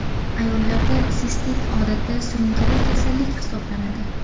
Ayollarda sistit odatda surunkali kasallik hisoblanadi.